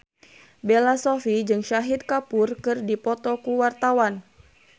Bella Shofie jeung Shahid Kapoor keur dipoto ku wartawan